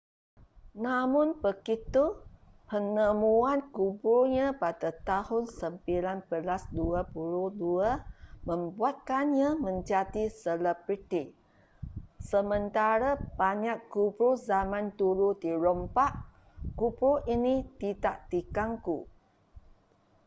namun begitu penemuan kuburnya pada tahun 1922 membuatkannya menjadi selebriti sementara banyak kubur zaman dulu dirompak kubur ini tidak diganggu